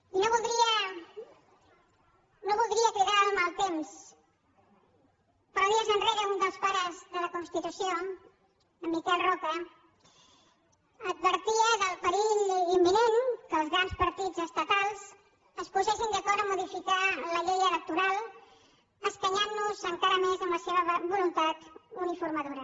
i no voldria cridar el mal temps però dies enrere un dels pares de la constitució en miquel roca advertia del perill imminent que els grans partits estatals es posessin d’acord en modificar la llei electoral escanyant nos encara més amb la seva voluntat uniformadora